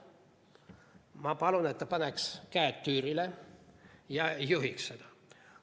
Ma palun, et ta paneks käed tüürile ja juhiks seda.